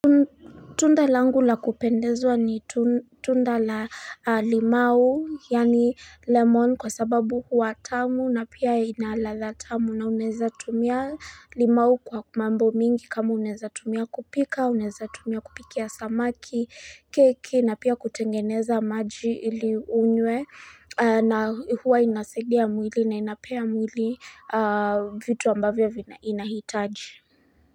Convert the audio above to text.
Tunda langu la kupendezwa ni tunda la limau yani lemon kwa sababu huwa tamu na pia inaladha tamu na uneza tumia limau kwa kumambo mingi kama uneza tumia kupika, uneza tumia kupikia samaki, keki na pia kutengeneza maji ili unywe na huwa inasaidia mwili na inapea mwili vitu ambavyo inahitaji.